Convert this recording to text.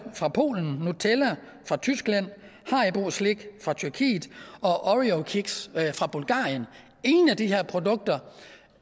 fra polen nutella fra tyskland haribo slik fra tyrkiet og oreo kiks fra bulgarien ingen af de her produkter